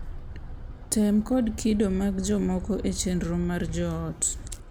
Tem, kod kido mag jomoko e chenro mar joot,